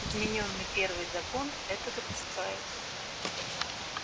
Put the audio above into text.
изменённый первый закон это допускает